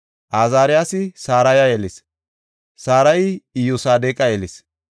Azaariyasi Saraya yelis; Sarayi Iyosadeqa yelis.